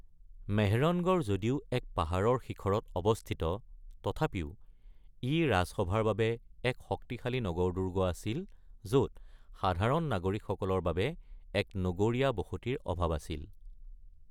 মেহৰনগড় যদিও এক পাহাৰৰ শিখৰত অৱস্থিত, তথাপিও ই ৰাজসভাৰ বাবে এক শক্তিশালী নগৰ-দুৰ্গ আছিল য’ত সাধাৰণ নাগৰিকসকলৰ বাবে এক নগৰীয়া বসতিৰ অভাৱ আছিল।